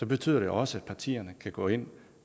betyder det også at partierne kan gå ind